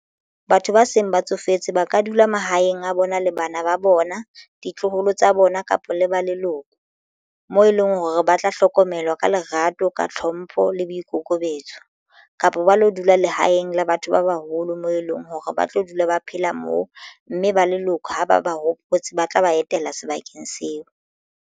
Batho ba seng ba tsofetse ba ka dula mahaeng a bona le bana ba bona, ditloholo tsa bona, kapa le ba leloko moo e leng hore ba tla hlokomelwa ka lerato ka tlhompho le le boikokobetso kapa ba lo dula lehaeng la batho ba baholo moo e leng hore ba tlo dula ba phela moo mme ba leloko ha ba ba hopotsa ba tla ba etela sebakeng seo.